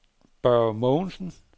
Børge Mogensen